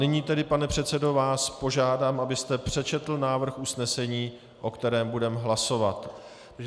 Nyní tedy, pane předsedo, vás požádám, abyste přečetl návrh usnesení, o kterém budeme hlasovat.